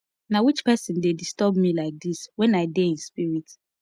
na which person dey disturb me like dis wen i dey in spirit